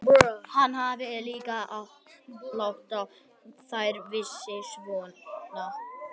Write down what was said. Hann hafði líka látið þær vísa svona á ská upp á við.